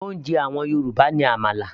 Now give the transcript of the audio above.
oúnjẹ àwọn Yorùbá ní àmàlà